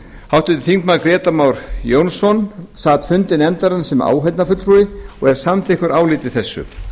háttvirtir þingmenn grétar mar jónsson sat fundi nefndarinnar sem áheyrnarfulltrúi og er samþykkur áliti þessu